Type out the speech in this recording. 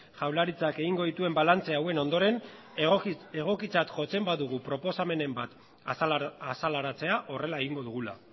jaurlaritzak egingo dituen balantze hauen ondoren egokitzat jotzen badugu proposamenen bat azaleratzea horrela egingo dugula